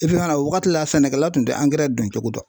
fana o wagati la , sɛnɛkɛlaw tun tɛ don cogo dɔn.